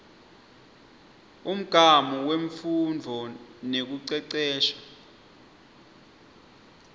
umgamu wemfundvo nekucecesha